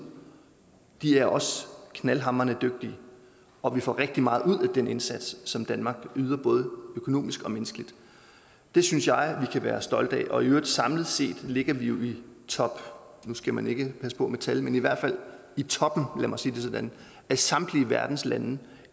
de er også knaldhamrende dygtige og vi får rigtig meget ud af den indsats som danmark yder både økonomisk og menneskeligt det synes jeg vi kan være stolte af og i øvrigt samlet set ligger vi jo i top nu skal man passe på med tal men i hvert fald i toppen lad mig sige det sådan af samtlige verdens lande